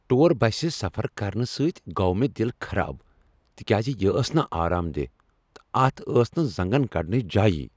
Tour بسہ سفر کرنہٕ سۭتۍ گوٚو مےٚ دل خراب تکیاز یہ ٲس نہٕ آرام دیہہ تہٕ اتھ ٲس نہٕ زنگن کڈنچ جایی۔